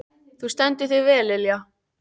Þú stendur þig vel, Lilja!